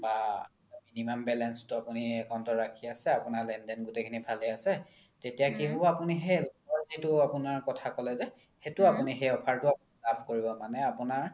বা minimum balance তো আপোনি account ত ৰাখি আছে আপোনাৰ লেন দেন গোতেই খিনি ভালে আছে তেতিয়া কি হ্'ব আপোনি কথা ক্'লে যে সেইটো আপোনি সেই offer তো লাভ কৰিব মানে আপোনাৰ